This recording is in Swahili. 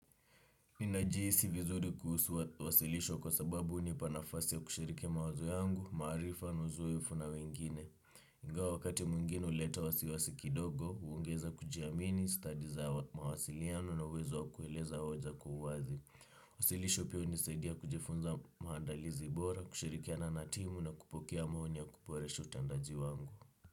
Ninajihisi vizuri kuhusu wasilisho kwa sababu hunipa nafasi ya kushiri mawazo yangu, maarifa na uzoefu na wengine. Though wakati mwingine huleta wasiwasi kidogo, huongeza kujiamini, stadi za mawasiliano na uwezo kueleza hoja kwa uwazi. Wasilisho pia hunisaidia kujifunza maandalizi bora, kushirikiana na timu na kupokea maoni ya kuboresha utendaji wangu.